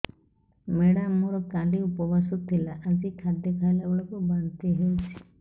madam ମୋର କାଲି ଉପବାସ ଥିଲା ଆଜି ଖାଦ୍ୟ ଖାଇଲା ବେଳକୁ ବାନ୍ତି ହେଊଛି